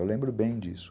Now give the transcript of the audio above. Eu lembro bem disso.